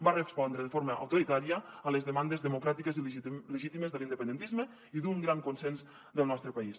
va respondre de forma autoritària a les demandes democràtiques i legítimes de l’independentisme i d’un gran consens del nostre país